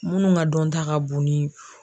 Minnu ka dɔn ta ka bon ni.